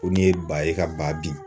Ko nin ye ba ye ka ba bi